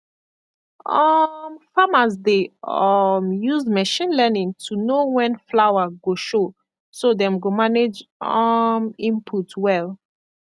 um farmers dey um use machine learning to know when flower go show so dem go manage um input well